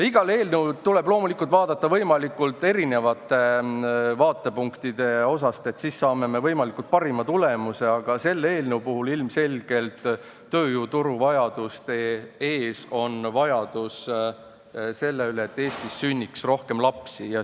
Iga eelnõu tuleb loomulikult vaadata võimalikult erinevatest vaatepunktidest, sest siis me saame võimalikest parima tulemuse, aga selle eelnõu puhul ilmselgelt tööjõuturuvajaduste ees on vajadus, et Eestis sünniks rohkem lapsi.